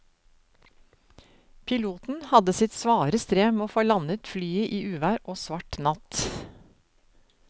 Piloten hadde sitt svare strev med å få landet flyet i uvær og svart natt.